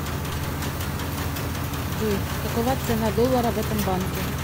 джой какова цена доллара в этом банке